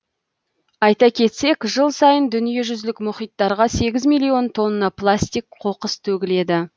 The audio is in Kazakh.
айта кетсек жыл сайын дүниежүзілік мұхиттарға сегіз миллион тонна пластик қоқыс төгіледі